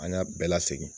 An y'a bɛɛ lasegin